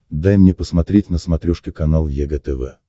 дай мне посмотреть на смотрешке канал егэ тв